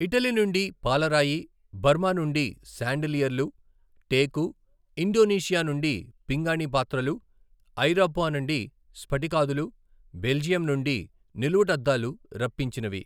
Italy నుండి పాలరాయి, Burma నుండి శాండిలియర్లు, టేకు, ఇండోనేషియా నుండి పింగాణీ పాత్రలు, ఐరోపా నుండి స్ఫటికాదులు, బెల్జియం నుండి నిలువుటద్దాలు రప్పించినవి.